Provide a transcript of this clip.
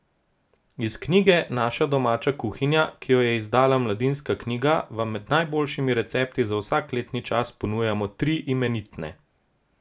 Iz knjige Naša domača kuhinja, ki jo je izdala Mladinska knjiga, vam med najboljšimi recepti za vsak letni čas ponujamo tri imenitne.